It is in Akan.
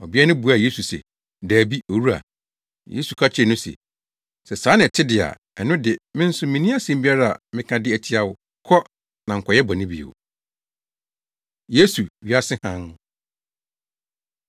Ɔbea no buaa Yesu se, “Dabi, Owura.” Yesu ka kyerɛɛ no se, “Sɛ saa na ɛte de a, ɛno de me nso minni asɛm biara a mɛka de atia wo. Kɔ, na nkɔyɛ bɔne bio.” Yesu, Wiase Hann